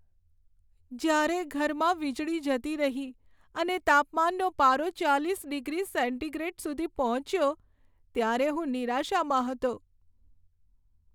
જ્યારે ઘરમાં વીજળી જતી રહી અને તાપમાનનો પારો ચાલીસ ડિગ્રી સેન્ટીગ્રેડ સુધી પહોંચ્યો, ત્યારે હું નિરાશામાં હતો.